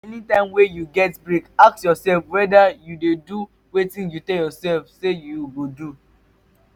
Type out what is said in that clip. anytime wey you get break ask yourself whether you dey do wetin you tell yourself say you go do